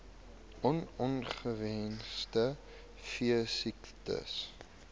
on ongewenste veesiektes